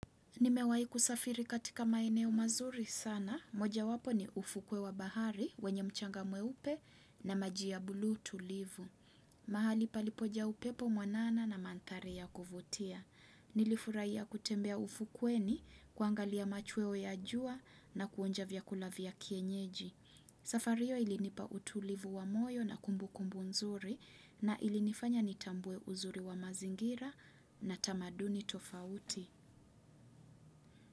Nimewahi kusafiri katika maeneo mazuri sana. Moja wapo ni ufukwe wa bahari, wenye mchanga mweupe na maji ya bluu tulivu. Mahali palipojaa upepo mwanana na mandhari ya kuvutia. Nilifurahia ya kutembea ufukweni kuangalia machweo ya jua na kuonja vyakula vya kienyeji. Safari hio ilinipa utulivu wa moyo na kumbukumbu nzuri na ilinifanya nitambue uzuri wa mazingira na tamaduni tofauti.